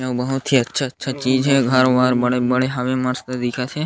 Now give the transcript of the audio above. अउ बहुत ही अच्छा-अच्छा चीज़ है घर वर बड़े-बड़े हवे मस्त दिखत हे।